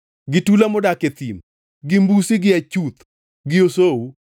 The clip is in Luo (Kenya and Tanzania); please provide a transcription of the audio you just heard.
gi tula modak e thim gi mbusi gi achuth gi osou,